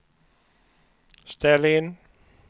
ställ in